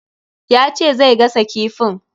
Ya ce zai gasa kifin.